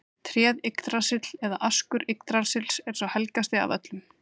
Tréð Yggdrasill eða askur Yggdrasils er sá helgasti af öllum.